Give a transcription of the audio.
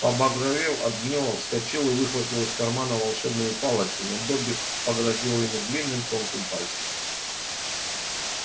побагровев от гнева вскочил и выхватил из кармана волшебную палочку но добби погрозил ему длинным тонким пальцем